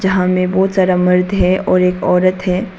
यहां में बहुत सारा मर्द है और एक औरत है।